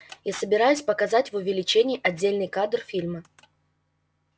я собираюсь показать в увеличении отдельный кадр фильма